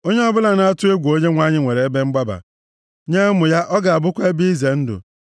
Onye ọbụla na-atụ egwu Onyenwe anyị nwere ebe mgbaba; nye ụmụ ya ọ ga-abụkwa ebe ize ndụ.